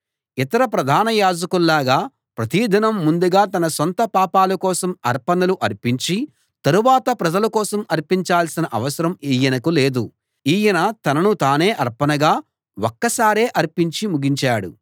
ఇతర ప్రధాన యాజకుల్లాగా ప్రతిదినం ముందుగా తన సొంత పాపాల కోసం అర్పణలు అర్పించి తరువాత ప్రజల కోసం అర్పించాల్సిన అవసరం ఈయనకు లేదు ఈయన తనను తానే అర్పణగా ఒక్కసారే అర్పించి ముగించాడు